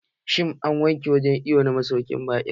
Shin, an wanke wurin iwon na masaukin baƙin?